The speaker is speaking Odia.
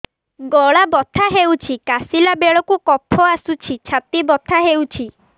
ଗଳା ବଥା ହେଊଛି କାଶିଲା ବେଳକୁ କଫ ଆସୁଛି ଛାତି ବଥା ହେଉଛି